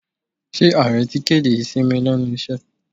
Ṣé ààrẹ ti kéde ìsinmi lẹ́nu iṣẹ́?